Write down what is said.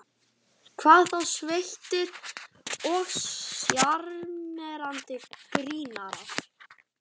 Hvað þá sveittir og sjarmerandi grínarar.